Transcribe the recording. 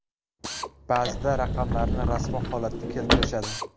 Ba’zida raqamlarni rasvo holatga keltirishadi.